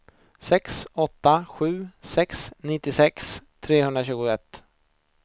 sex åtta sju sex nittiosex trehundratjugoett